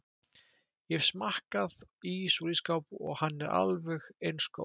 Ég hef smakkað ís úr ísskáp og hann er alveg eins góður